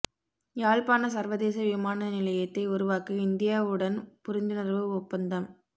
யாழ்ப்பாண சர்வதேச விமான நிலையத்தை உருவாக்க இந்தியாவுடன் புரிந்துணர்வு ஒப்பந்தம்